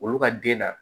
Olu ka den na